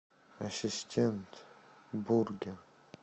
ассистент бургер